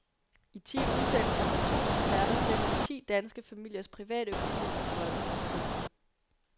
I ti udsendelser går to eksperter tæt på ti danske familiers privatøkonomi og drømme. punktum